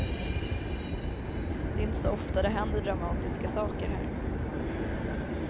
Det är inte så ofta det händer dramatiska saker här.